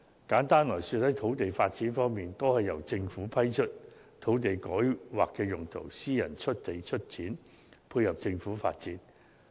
簡單而言，在土地發展方面，大多數是由政府批出土地改劃用途，由私人出地出錢，配合政府發展。